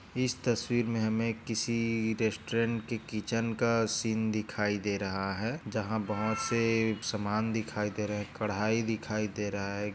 इस तस्वीर में हमे एक किसी रेस्टॉरंट की किचन का सीन दिखाई दे रहा है जहाँ बहुत से सामान दिखाई दे रहे है कढ़ाई दिखाई दे रहा है।